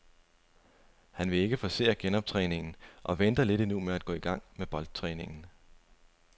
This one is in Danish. Han vil ikke forcere genoptræningen og venter lidt endnu med at gå i gang med boldtræningen.